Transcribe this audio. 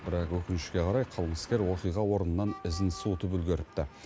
бірақ өкінішке қарай қылмыскер оқиға орнынан ізін суытып үлгеріпті